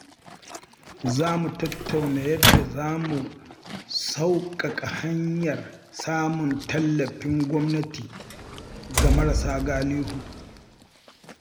Za mu tattauna yadda za mu sauƙaƙa hanyar samun tallafin gwamnati ga marasa galihu.